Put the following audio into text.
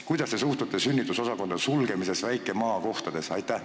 Kuidas te suhtute sünnitusosakondade sulgemisse väikestes maakohtades?